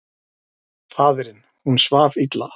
Faðirinn: Hún svaf illa.